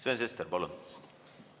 Sven Sester, palun!